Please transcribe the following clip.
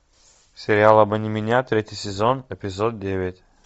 сериал обмани меня третий сезон эпизод девять